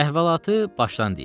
Əhvalatı başdan deyim.